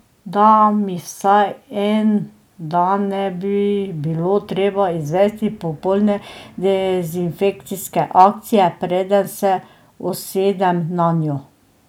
Da mi vsaj en dan ne bi bilo treba izvesti popolne dezinfekcijske akcije preden se usedem nanjo.